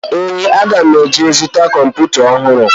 Ee, ana m aga izu kọmputa ọhụrụ.